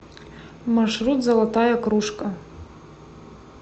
маршрут золотая кружка